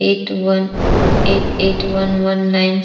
eight one eight eight one one nine --